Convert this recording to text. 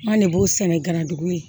An de b'o sɛnɛ garajugu ye